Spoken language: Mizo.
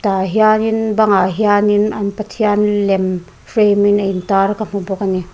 tah hianin bang ah hianin an pathian lem frame in a in tar ka hmu bawk ani.